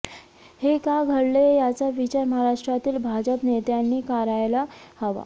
हे का घडले याचा विचार महाराष्ट्रातील भाजप नेत्यांनी करायला हवा